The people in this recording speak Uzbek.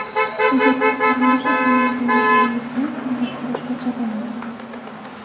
Agar biz qarindosh ekanimizni bilganimizda, hammasi boshqacha bo‘lardi.